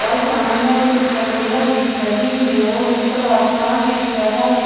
और सामने कुछ लकड़िया दिख रहि है और ऊपर आसमान दिख रहा है।